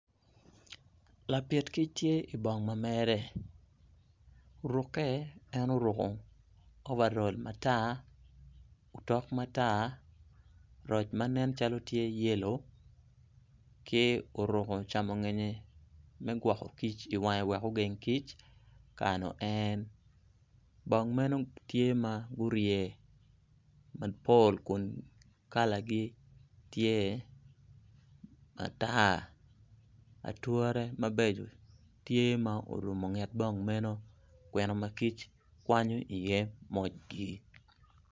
Lapit kic tye ibong ma mere ruke en oruko ovarol matar otok matar roc ma nen calo tye yelo ki oruko camongeye me gwoko kic iwange wek ogen kic me kayo en bong meno tye ma gurye mapol kun kalagi tye matar ature mabeco tye ma orumu nget bong meno kwene makic kwanyi iye mojgi